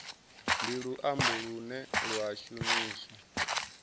ndi luambo lune lwa shumiswa